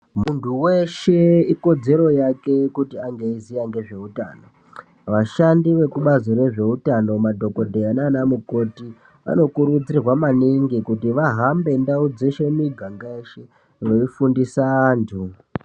Muntu weshe ikodzero yake kuti ange eiziva ngezvehutano. Vashandi vekubazi rezvehutano madhokodheya nana mukoti vano kurudzirwa maningi kuti vahambe mundau dzeshe mumiganga yeshe veifundisa antu.